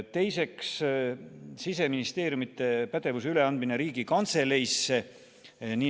Teiseks, Siseministeeriumi pädevuse üleandmine Riigikantseleile.